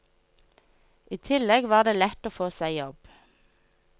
I tillegg var det lett å få seg jobb.